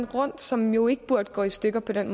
rundt som jo ikke burde gå i stykker på den